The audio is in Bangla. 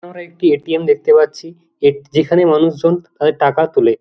আমরা একটি এ.টি.এম. দেখতে পাচ্ছি এট- যেখানে মানুষজন তাদের টাকা তোলে।